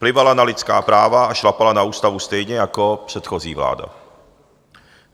Plivala na lidská práva a šlapala na ústavu stejně jako předchozí vláda.